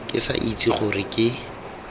ke sa itse gore ke